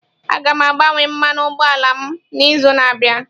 Aga m agbanwe mmanụ ụgbọ ala m n'izu na-abịa.